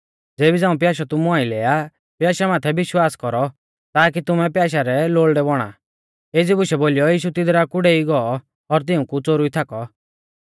ज़ेबी झ़ांऊ प्याशौ तुमु आइलै आ प्याशै माथै विश्वास कौरौ ताकी तुमै प्याशै री लोल़डै बौणा एज़ी बुशै बोलीयौ यीशु तिदरा कु डेई गौ और तिऊंकु च़ोरुई थाकौ